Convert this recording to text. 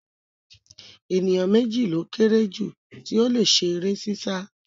Ènìyàn méjì ló kéré jù tí ó le ṣe eré sísá